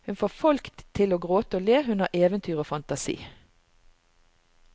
Hun får folk til å gråte og le, hun har eventyr og fantasi.